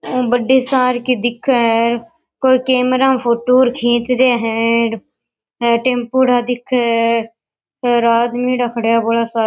बड़ी सार की दिखे है कोई कैमरा में फोटो खिउँछ रहा है टम्पूडा दिखे है आदमी खड़या है बड़ा सार --